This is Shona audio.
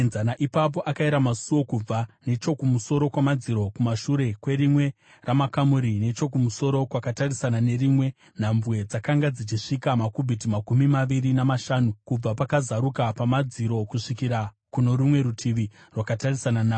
Ipapo akayera musuo kubva nechokumusoro kwamadziro kumashure kwerimwe ramakamuri nechokumusoro kwakatarisana nerimwe; nhambwe dzakanga dzichisvika makubhiti makumi maviri namashanu kubva pakazaruka pamadziro kusvikira kuno rumwe rutivi rwakatarisana nawo.